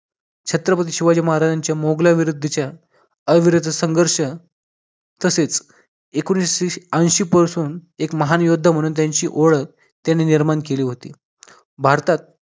छत्रपती शिवाजी महाराजांच्या मुघलाविरुद्धच्या अविरुद्ध संघर्ष तसेच एकोणविसशे ऐंशी पासून एक महान योद्धा म्हणून त्यांची ओळख त्यांनी निर्माण केली होती भारतात